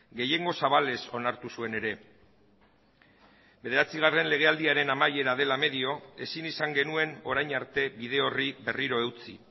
gehiengo zabalez onartu zuen ere bederatzigarren legealdiaren amaiera dela medio ezin izan genuen orain arte bide horri berriro eutsi